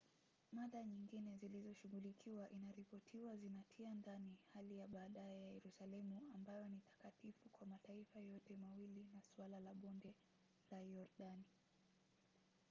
mada nyingine zilizoshughulikiwa inaripotiwa zinatia ndani hali ya baadaye ya yerusalemu ambayo ni takatifu kwa mataifa yote mawili na suala la bonde la yordani